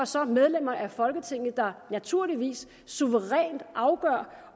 så medlemmerne af folketinget der naturligvis suverænt afgør